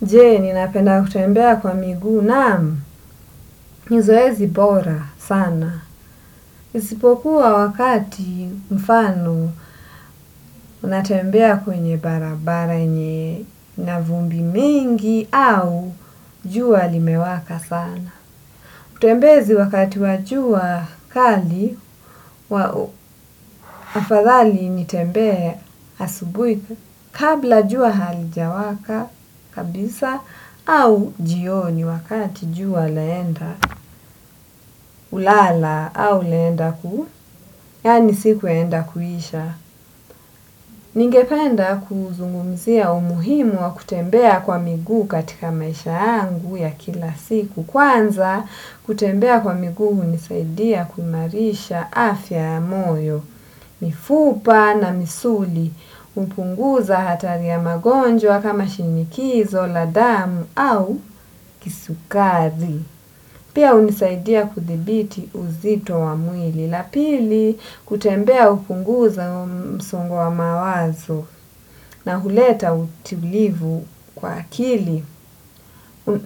Jee, ninapenda kutembea kwa miguu, naamu, nizoezi bora sana. Isipokuwa wakati mfano, natembea kwenye barabara, yenye na vumbi mingi, au jua limewaka sana. Utembezi wakati wa jua kali, wao, afadhali nitembee asubui. Kabla jua halijawaka kabisa au jioni wakati jua laenda kulala au laenda ku, yani siku yaenda kuhisha. Ningependa kuzungumzia umuhimu wa kutembea kwa miguu katika maisha yangu ya kila siku. Kwanza kutembea kwa miguu hunisaidia kuimarisha afya ya moyo, mifupa na misuli. Kupunguza hatari ya magonjwa kama shinikizo la damau au kisukari. Pia unisaidia kuthibiti uzito wa mwili. La pili kutembea upunguza msongo wa mawazo na huleta utilivu kwa akili.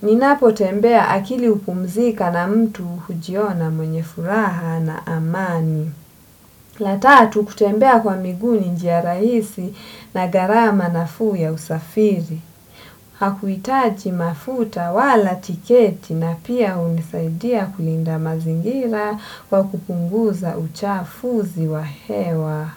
Ninapo tembea akili upumzika na mtu hujiona mwenye furaha na amani ya ta tau kutembea kwa miguu ni njia rahisi na garama nafuu ya usafiri. Hakuitaji mafuta wala tiketi na pia unisaidia kulinda mazingira kwa kupunguza uchafuzi wa hewa.